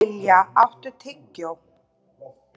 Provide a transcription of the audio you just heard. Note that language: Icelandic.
Dallilja, áttu tyggjó?